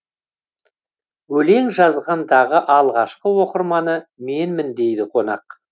өлең жазғандығы алғашқы оқырманы менмін дейді қонақ